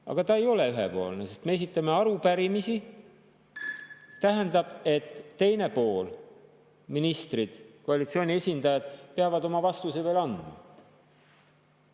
Aga ta ei ole ühepoolne, sest me esitame arupärimisi, mis tähendab, et teine pool – ministrid, koalitsiooni esindajad – peab oma vastuse veel andma.